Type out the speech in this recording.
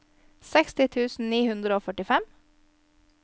seksti tusen ni hundre og femtifem